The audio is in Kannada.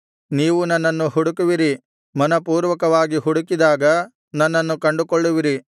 ನೀವು ನನ್ನನ್ನು ಹುಡುಕುವಿರಿ ಮನಃಪೂರ್ವಕವಾಗಿ ಹುಡುಕಿದಾಗ ನನ್ನನ್ನು ಕಂಡುಕೊಳ್ಳುವಿರಿ